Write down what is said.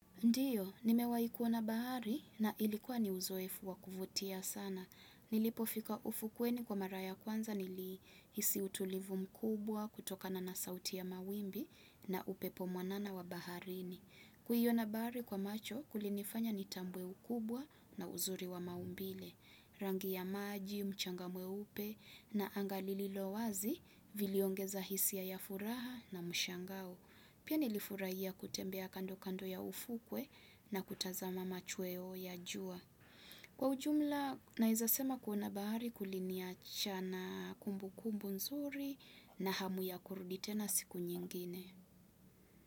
Ndiyo, nimewahi kuona bahari na ilikuwa ni uzoefu wa kuvutia sana. Nilipofika ufukweni kwa mara ya kwanza nilihisi utulivu mkubwa kutokana na sauti ya mawimbi na upepo mwanana wa baharini. Kuiona bahari kwa macho kulinifanya nitambue ukubwa na uzuri wa maumbile. Rangi ya maji, mchanga mweupe na anga lililo wazi viliongeza hisia ya furaha na mshangao. Pia nilifurahia kutembea kando kando ya ufukwe na kutazama machweo ya jua. Kwa ujumla, naezasema kuona bahari kuliniachana kumbukumbu nzuri na hamu ya kurudi tena siku nyingine.